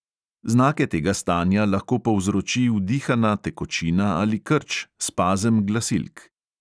Znake tega stanja lahko povzroči vdihana tekočina ali krč, spazem glasilk.